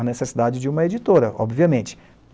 a necessidade de uma editora, obviamente.